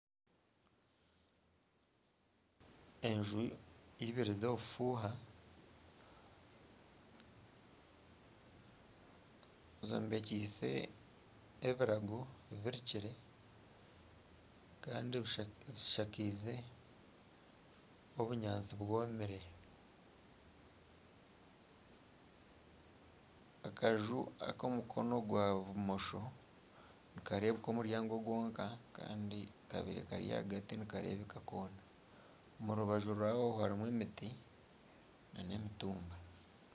Enju ibiri z'obufuha zombekise ebirago birukire Kandi zishakiize obunyaantsi bwomire. Akaju ak'omukono gwa bumosho nikarebuka omuryango gwonka Kandi akahagati nikarebuka kona . Omu rubaju rwaho harumu emiti nana emitumba.